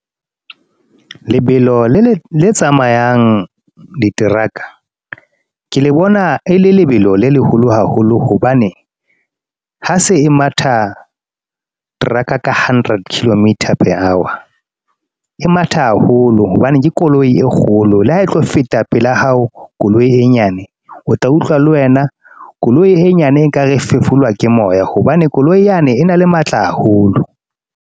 Lebelo le le, le tsamayang diteraka ke le bona e le lebelo le leholo haholo hobane, ha se e matha teraka ka hundred kilometre per hour. E matha haholo hobane ke koloi e kgolo le ha e tlo feta pela hao koloi e nyane o tla utlwa le wena, koloi e nyane ekare e fefolwa ke moya hobane koloi yane e na le matla haholo.